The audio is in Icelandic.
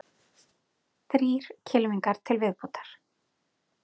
Þrír kylfingar til viðbótar